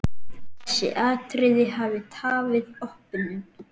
Þessi atriði hafi tafið opnun.